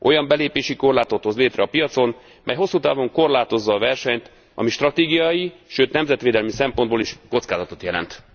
Olyan belépési korlátot hoz létre a piacon, mely hosszú távon korlátozza a versenyt, ami stratégiai, sőt nemzetvédelmi szempontból is kockázatot jelent.